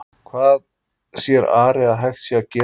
En hvað sér Ari að hægt sé að gera í stöðunni?